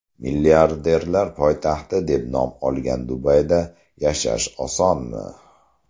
Milliarderlar poytaxti deb nom olgan Dubayda yashash osonmi?